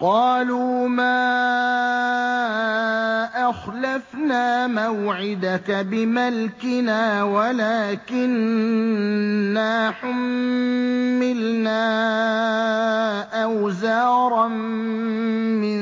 قَالُوا مَا أَخْلَفْنَا مَوْعِدَكَ بِمَلْكِنَا وَلَٰكِنَّا حُمِّلْنَا أَوْزَارًا مِّن